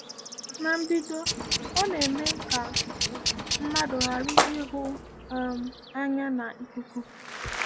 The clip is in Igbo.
Na mbido, ọ na-eme ka mmadụ ghara ịhụ um anya n’akụkụ.